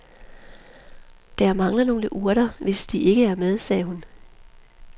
Der mangler nogle urter, hvis de ikke er med, sagde hun.